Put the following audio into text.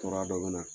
Tɔɔrɔya dɔ bɛ na